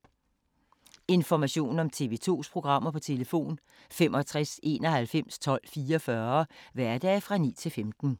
Information om TV 2's programmer: 65 91 12 44, hverdage 9-15.